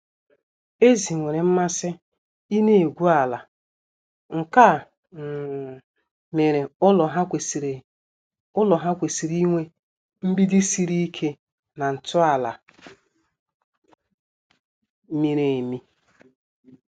Ezi nwere mmasị ịna-egwu ala, nkea um mere ụlọ ha kwesịrị ụlọ ha kwesịrị inwe mgbidi siri ike na ntọala miri emi